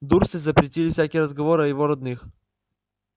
дурсли запретили всякие разговоры о его родных